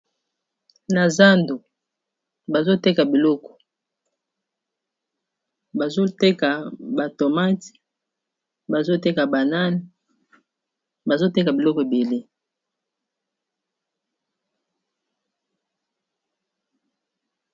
na zando bazoteka biloko bazoteka batomate bazoteka banane bazoteka biloko ebele